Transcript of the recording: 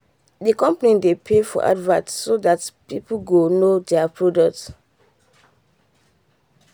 the company dey pay for advert so that people go know there product.